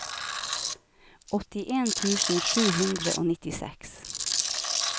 åttien tusen sju hundre og nittiseks